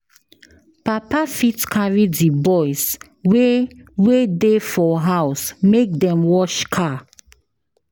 Papa fit carry di boys wey wey dey for house make dem wash car